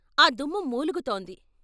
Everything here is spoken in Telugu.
ఆ దుమ్ము మూలుగుతోంది.